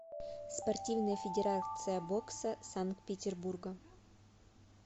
спортивная федерация бокса санкт петербурга